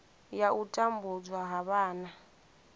ya u tambudzwa ha vhana